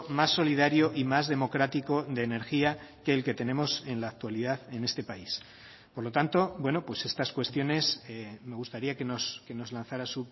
más solidario y más democrático de energía que el que tenemos en la actualidad en este país por lo tanto bueno pues estas cuestiones me gustaría que nos lanzara